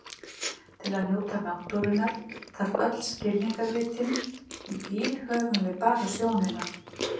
Til að njóta náttúrunnar þarf öll skilningarvitin, í bíl höfum við bara sjónina.